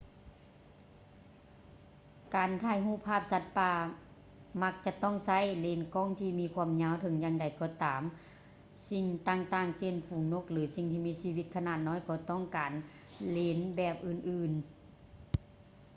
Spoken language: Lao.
ການຖ່າຍຮູບພາບສັດປ່າມັກຈະຕ້ອງໃຊ້ເລນກ້ອງທີ່ມີຄວາມຍາວ ເຖິງຢ່າງໃດກໍຕາມສິ່ງຕ່າງໆ ເຊັ່ນ ຝູງນົກ ຫຼື ສິ່ງທີ່ມີຊີວິດຂະໜາດນ້ອຍ ກໍຕ້ອງການເລນແບບອື່ນໆ